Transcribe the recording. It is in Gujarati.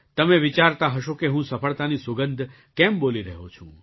તમે વિચારતા હશો કે હું સફળતાની સુગંધ કેમ બોલી રહ્યો છું